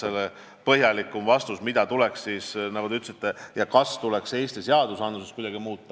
Aga põhjalikuma vastuse, kas Eesti seadustikus tuleks midagi muuta, saadan teile kirjalikult.